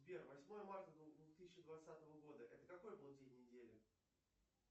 сбер восьмое марта две тысячи двадцатого года это какой был день недели